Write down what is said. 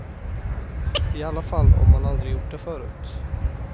I alla fall om man aldrig gjort det förut.